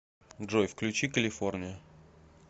джой включи калифорния